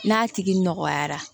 N'a tigi nɔgɔyara